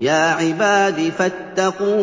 يَا عِبَادِ فَاتَّقُونِ